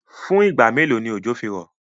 Fún ìgba mẹ́lò ni ọjọ́ fí rọ̀?